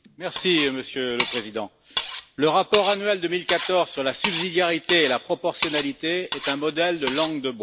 Monsieur le Président, le rapport annuel 2014 sur la subsidiarité et la proportionnalité est un modèle de langue de bois.